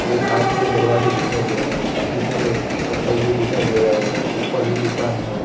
ये कांच के दरवाजे दिखाई दे रहे हैं काफी सारे चप्पल भी दिखाई दे रहे हैं ऊपर भी दुकान है।